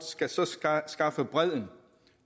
skal så skaffe skaffe bredden